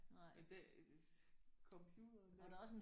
Men det computeren der